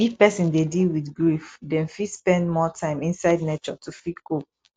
if person dey deal with grief dem fit spend more time inside nature to fit cope